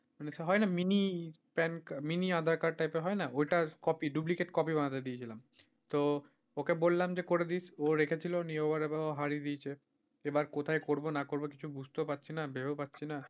মানে সে হয়না mini PAN, mini aadhaar card type এর হয় না copy duplicate copy বানাতে দিয়েছিলাম তো ওকে বললাম যে করে দিস ও রেখেছিল নিয়ে ও এবার হারিয়ে দিয়েছে এবার কোথায় করবো না করবো কিছু বুঝতেও পারছিনা কিছু ভেবেও পারছিনা।